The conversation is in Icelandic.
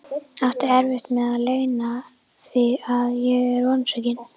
Átti erfitt með að leyna því að ég var vonsvikinn.